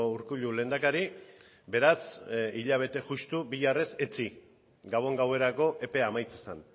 urkullu lehendakari beraz hilabete justu bihar ez etzi gabon gauerako epea amaitzen zen